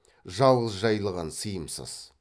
жалғыз жайылған сыйымсыз